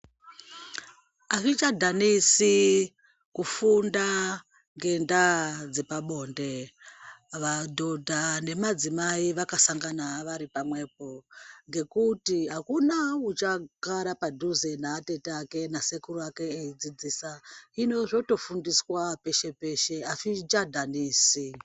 Azvichadhanisi kufunda ngendaa dzepabone vadhodha nemadzimai vakasangana vari pamwepo ngekuti akuna uchagara padhuze naatete ake nasekuru ake eidzidzisa hino zvotofundiswa peshe peshe azvichadhanisi.